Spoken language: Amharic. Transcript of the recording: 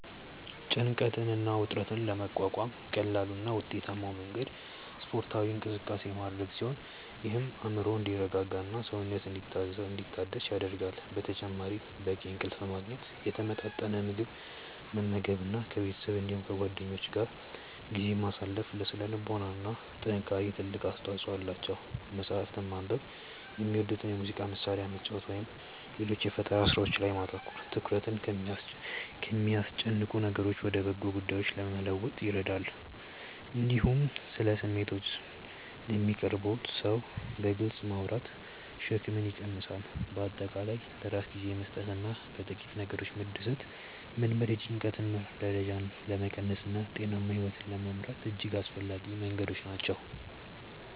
ጭንቀትን እና ውጥረትን ለመቋቋም ቀላሉ እና ውጤታማው መንገድ ስፖርታዊ እንቅስቃሴ ማድረግ ሲሆን ይህም አእምሮ እንዲረጋጋና ሰውነት እንዲታደስ ይረዳል። በተጨማሪም በቂ እንቅልፍ ማግኘት፣ የተመጣጠነ ምግብ መመገብ እና ከቤተሰብ እንዲሁም ከጓደኞች ጋር ጊዜ ማሳለፍ ለሥነ ልቦና ጥንካሬ ትልቅ አስተዋጽኦ አላቸው። መጽሐፍትን ማንበብ፣ የሚወዱትን የሙዚቃ መሣሪያ መጫወት ወይም ሌሎች የፈጠራ ሥራዎች ላይ ማተኮር ትኩረትን ከሚያስጨንቁ ነገሮች ወደ በጎ ጉዳዮች ለመለወጥ ይረዳሉ። እንዲሁም ስለ ስሜቶችዎ ለሚቀርቡዎት ሰው በግልጽ ማውራት ሸክምን ይቀንሳል። በአጠቃላይ ለራስ ጊዜ መስጠትና በጥቂት ነገሮች መደሰትን መልመድ የጭንቀት ደረጃን ለመቀነስና ጤናማ ሕይወት ለመምራት እጅግ አስፈላጊ መንገዶች ናቸው።